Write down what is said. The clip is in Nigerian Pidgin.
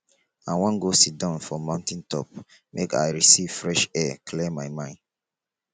i wan go siddon for mountain top make i receive fresh air clear my mind